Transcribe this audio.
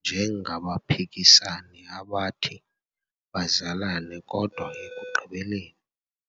njengabaphikisani abathi bazalane kodwa ekugqibeleni.